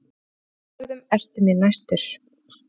Í dýragörðum ertu mér næstur.